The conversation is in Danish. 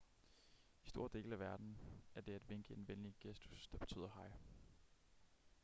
i store dele af verden er det at vinke en venlig gestus der betyder hej